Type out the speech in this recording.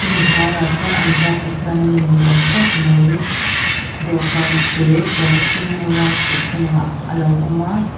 a hnuaiah chuan an vai pathian lim ni awm tak mai dawhkan te puan senno a khuh chungah a lo awm a.